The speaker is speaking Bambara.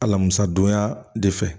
Alamisa don ya de fɛ